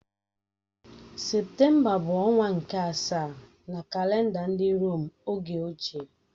Septemba bụ ọnwa nke asaa na kalenda ndị Rom oge ochie